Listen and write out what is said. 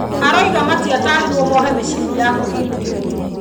Arauga matiatarirwo mohe mĩcibi ya kũĩgitĩra.